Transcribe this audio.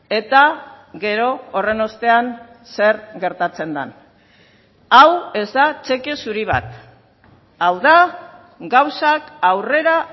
eta gero horren ostean zer gertatzen den hau ez da txeke zuri bat hau da gauzak aurrera